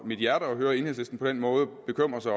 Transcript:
mit hjerte at høre enhedslisten på den måde bekymre sig